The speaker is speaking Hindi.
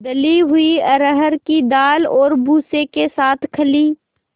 दली हुई अरहर की दाल और भूसे के साथ खली